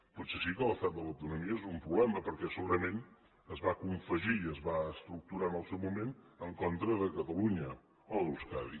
potser sí que l’estat de l’autonomia és un problema perquè segurament es va confegir i es va estructurar en el seu moment en contra de catalunya o d’euskadi